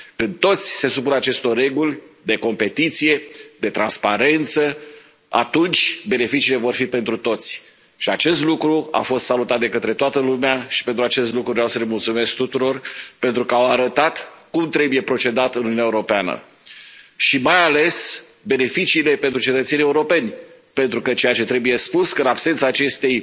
Când toți se supun acestor reguli de competiție, de transparență, atunci beneficiile vor fi pentru toți, și acest lucru a fost salutat de către toată lumea, și pentru acest lucru vreau să le mulțumesc tuturor pentru că au arătat cum trebuie procedat în Uniunea Europeană, și mai ales beneficiile pentru cetățenii europeni, pentru că ceea ce trebuie spus este că în absența acestei